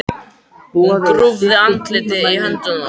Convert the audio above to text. Hún grúfði andlitið í höndum sér.